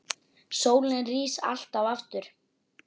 Sólin rís alltaf aftur.